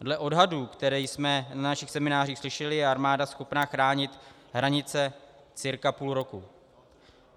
Dle odhadů, které jsme na našich seminářích slyšeli, je armáda schopna chránit hranice cirka půl roku.